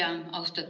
Aitäh, hea küsija!